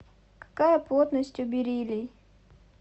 какая плотность у бериллий